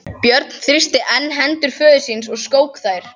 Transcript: Björn þrýsti enn hendur föður síns og skók þær.